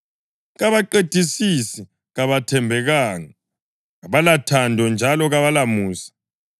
kabaqedisisi, kabathembekanga, kabalathando njalo kabalamusa.